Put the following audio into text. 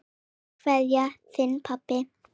Kær kveðja, þinn pabbi.